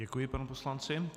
Děkuji panu poslanci.